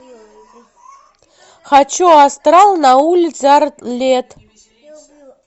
хочу астрал на улице арлетт